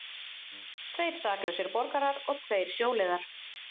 Tveir saklausir borgarar og tveir sjóliðar